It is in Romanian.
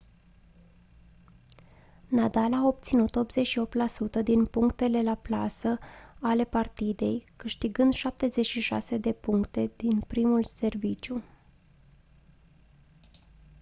nadal a obținut 88% din punctele la plasă ale partidei câștigând 76 de puncte din primul serviciu